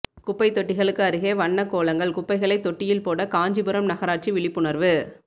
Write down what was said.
குப்பைத் தொட்டிகளுக்கு அருகே வண்ணக் கோலங்கள் குப்பைகளைத் தொட்டியில் போட காஞ்சிபுரம் நகராட்சி விழிப்புணா்வு